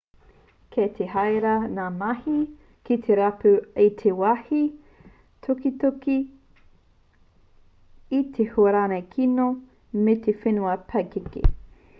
kei te herea ngā mahi ki te rapu i te wāhi tukituki e te huarere kino me te whenua pakeke